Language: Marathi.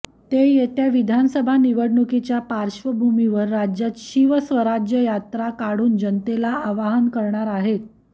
ते येत्या विधानसभा निवडणुकीच्या पार्श्वभूमीवर राज्यात शिवस्वराज्य यात्रा काढून जनतेला आवाहन करणार आहेत